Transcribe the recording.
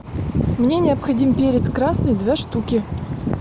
мне необходим перец красный две штуки